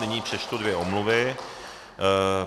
Nyní přečtu dvě omluvy.